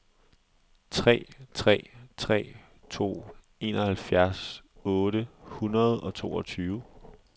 tre tre tre to enoghalvfjerds otte hundrede og toogtyve